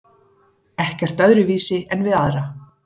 Ekkert öðruvísi en við aðra.